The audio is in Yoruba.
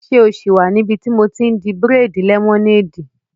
Ṣé o sì wà níbi tí mo ti n di bírèèdì lẹ́mọ́néèdì?